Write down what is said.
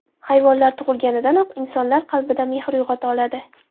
Hayvonlar tug‘ilganidanoq insonlar qalbida mehr uyg‘ota oladi.